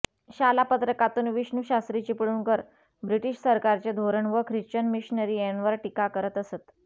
शालापत्रकातून Vishnushastri Chiplunkar British सरकारचे धोरण व ख्रिश्चन मिशनरी यांवर टीका करत असत